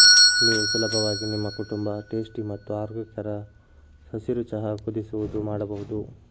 ನೀವು ಸುಲಭವಾಗಿ ನಿಮ್ಮ ಕುಟುಂಬ ಟೇಸ್ಟಿ ಮತ್ತು ಆರೋಗ್ಯಕರ ಹಸಿರು ಚಹಾ ಕುದಿಸುವುದು ಮಾಡಬಹುದು